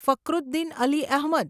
Fakhruddin Ali Ahmad